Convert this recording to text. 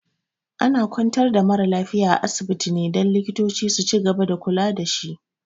Ana kwantar da mara lafiya a asibiti ne don likitoci su cigaba da kula dashi